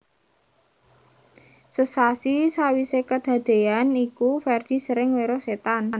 Sesasi sawisé kadadean iku Ferdi sering weruh setan